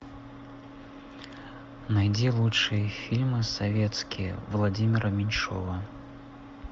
найди лучшие фильмы советские владимира меньшова